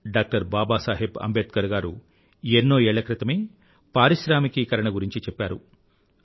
doctor Baba Saheb Ambedkar గారు ఎన్నోఏళ్ల క్రితమే పారిశ్రామికీకరణ గురించి చెప్పారు